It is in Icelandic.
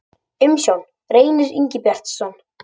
Umsjón: Reynir Ingibjartsson.